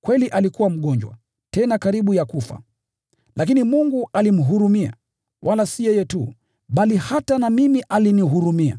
Kweli alikuwa mgonjwa, tena karibu ya kufa. Lakini Mungu alimhurumia, wala si yeye tu, bali hata na mimi alinihurumia,